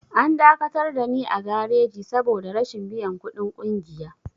An dakatar dani a gareji saboda rashin biyan ƙudin ƙungiya.